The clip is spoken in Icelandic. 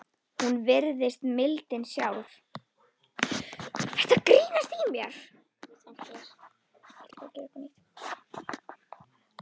Hún virðist mildin sjálf.